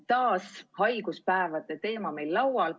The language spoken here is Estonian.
Taas on haiguspäevade teema meil laual.